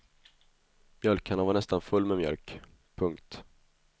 Mjölkkannan var nästan fullt med mjölk. punkt